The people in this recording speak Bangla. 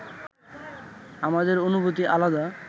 আমাদের অনুভূতি আলাদা